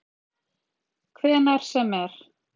Hvenær sem er.